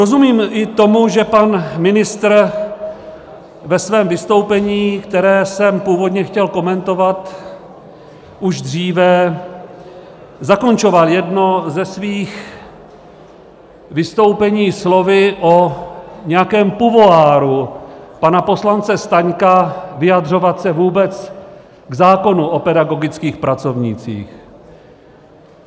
Rozumím i tomu, že pan ministr ve svém vystoupení, které jsem původně chtěl komentovat už dříve, zakončoval jedno ze svých vystoupení slovy o nějakém pouvoiru pana poslance Staňka vyjadřovat se vůbec k zákonu o pedagogických pracovnících.